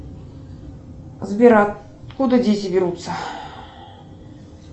сбер откуда дети берутся